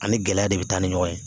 Ani gɛlɛya de bɛ taa ni ɲɔgɔn ye